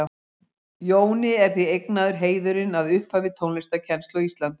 Jóni er því eignaður heiðurinn að upphafi tónlistarkennslu á Íslandi.